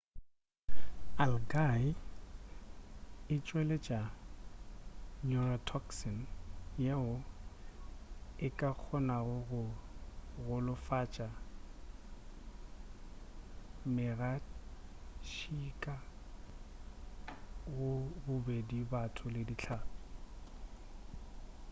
algae e tšweletša neurotoxin yeo e ka kgonago go golofatša megatšhika go bobedi batho le dihlapi